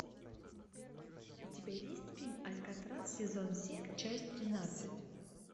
у тебя есть фильм алькатрас сезон семь часть тринадцать